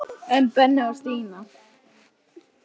En Benni og Stína?